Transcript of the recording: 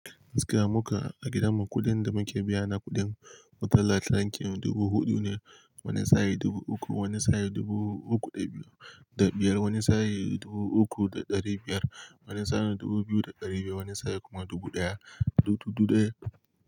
Gaskiya mukan, a gidanmu kuɗin da muke biya na kuɗin wutar lantarki dubu huɗu ne, wani saye dubu uku, wani saye dubu uku da biyar, wani saye dubu uku da ɗari biyar, wani saye dubu biyu da ɗari biyar wani saye kuma dubu ɗaya da dubu ɗaya.